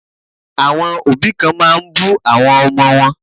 Àwọn òbí kan máa ń bú àwọn ọmọ wọn.